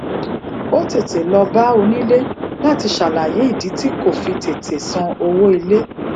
ó tètè lọ bá onile láti ṣàlàyé ìdí tí kò fi tètè san owó ilé